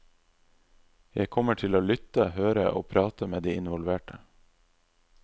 Jeg kommer til å lytte, høre og prate med de involverte.